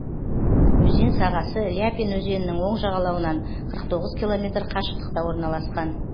өзен сағасы ляпин өзенінің оң жағалауынан қырық тоғыз километр қашықтықта орналасқан